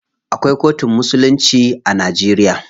Akwai kotun musulunci a Najeriya.